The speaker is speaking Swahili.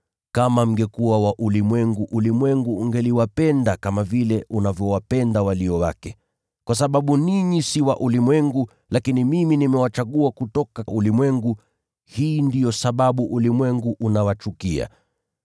Kama mngekuwa wa ulimwengu, ulimwengu ungeliwapenda kama vile unavyowapenda walio wake. Kwa sababu ninyi si wa ulimwengu, lakini mimi nimewachagua kutoka ulimwengu, hii ndiyo sababu ulimwengu unawachukia.